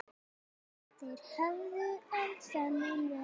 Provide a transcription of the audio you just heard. Þeir höfðu elst þennan vetur.